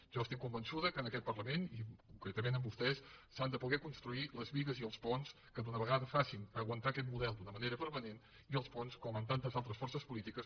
jo estic convençuda que en aquest parlament i concretament amb vostès s’han de poder construir les bigues i els ponts que d’una vegada facin aguantar aquest model d’una manera permanent i els ponts com amb tantes altres forces polítiques